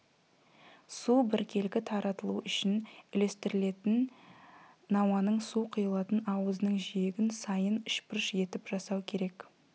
су біркелкі таратылу үшін үлестіретін науаның су құйылатын аузының жиегін сайын үшбұрыш етіп жасау керек